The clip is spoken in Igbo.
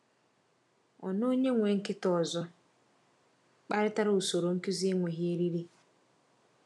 Ọ na onye nwe nkịta ọzọ kparịtara usoro nkuzi enweghị eriri.